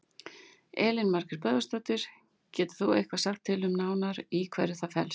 Elín Margrét Böðvarsdóttir: Getur þú eitthvað sagt til um nánar í hverju það felst?